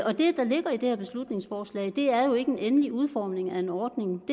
og det der ligger i det her beslutningsforslag er jo ikke en endelig udformning af en ordning